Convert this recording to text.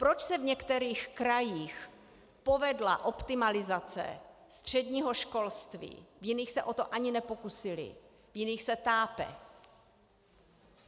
Proč se v některých krajích povedla optimalizace středního školství, v jiných se o to ani nepokusili, v jiných se tápe?